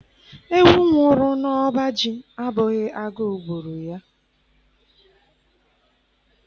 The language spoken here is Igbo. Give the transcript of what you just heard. Ewu nwụrụ n'ọba ji abụghị agụụ gburu ya